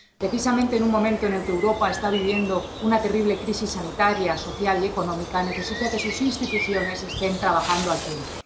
Precisamente en un momento en el que Europa está viviendo una terrible crisis sanitaria, social y económica, necesita que sus instituciones estén trabajando al tiempo.